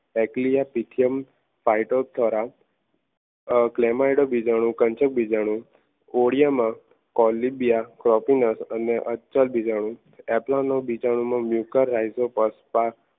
ગાયક લિયા પીથિયમ ફાઈટોથોરામ ગ્લેમર બીજાનું culture બીજાનું કોડિયામાં કોલીબીયા પ્રોપીનસ અને અચલ બીજાણુઓ એપલાનો બીજાણુઓમાં